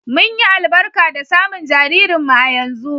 Mun yi albarka da samun jaririnmu a yanzu.